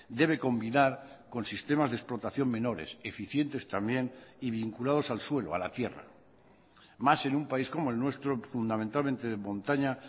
debe combinar con sistemas de explotación menores eficientes también y vinculados al suelo a la tierra más en un país como el nuestro fundamentalmente de montaña